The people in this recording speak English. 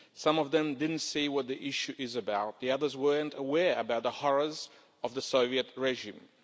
Some of them didn't see what the issue is about, the others weren't aware about the horrors of the Soviet regime.